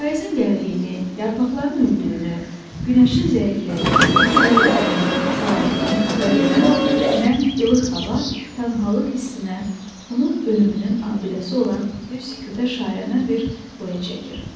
Payızın gəldiyini, yarpaqların öldüyünü, günəşin zəiflədiyini, yorulduğunu, saraldığını xəbər verən nəm, ilıq hava tənhalıq hissinə, onun ölümünün abidəsi olan bir sükutə şairanə bir boya çəkir.